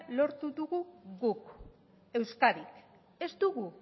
lortu dugu guk euskadik ez dugu